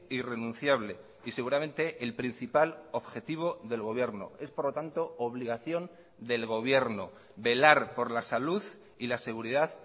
irrenunciable y seguramente el principal objetivo del gobierno es por lo tanto obligación del gobierno velar por la salud y la seguridad